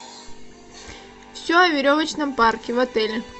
все о веревочном парке в отеле